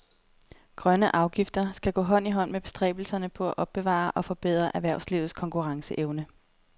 Grønne afgifter skal gå hånd i hånd med bestræbelserne på at opbevare og forbedre erhvervslivets konkurrenceevne.